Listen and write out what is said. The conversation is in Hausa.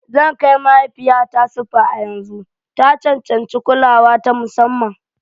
Zan kai mahaifiyata spa a yanzu. Ta cancanci kulawa ta musamman.